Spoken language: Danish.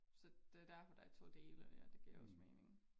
Så det derfor der er to dele ja det giver også mening